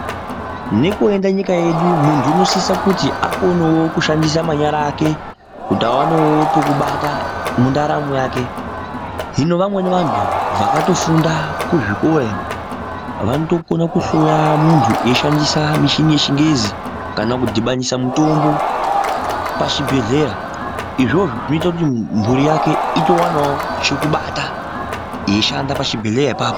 Nekwoenda nyika yedu muntu unosisa kuti akone wo kushandisa manyara ake kuti awane wo pekubata mundaramo yake. Hino vamweni vantu vakatofunda kuzvikora ino vanotokona kuhloya muntu veishandisa michini yechingezi kana kudhibanisa mutombo pachibhendhlera. Izvozvo zvinoita kuti mhuri yake itowana wo pekubata eishanda pachibhendhleya apapo.